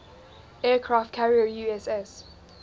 aircraft carrier uss